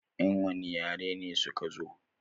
Yan wani yare ne suka zo?